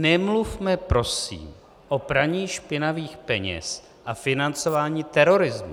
Nemluvme prosím o praní špinavých peněz a financování terorismu.